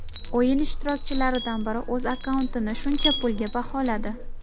O‘yin ishtirokchilaridan biri o‘z akkauntini shuncha pulga baholadi.